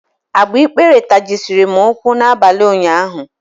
Agbikpere tajisiri m ụkwụ n'abalị ụnyaahụ.